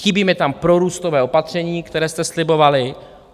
Chybí mi tam prorůstové opatření, které jste slibovali.